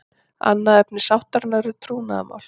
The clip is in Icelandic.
Annað efni sáttarinnar er trúnaðarmál